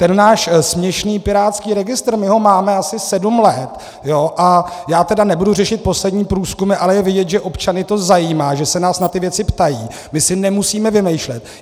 Ten náš směšný pirátský registr, my ho máme asi sedm let, a já tedy nebudu řešit poslední průzkumy, ale je vidět, že občany to zajímá, že se nás na ty věci ptají, my si nemusíme vymýšlet.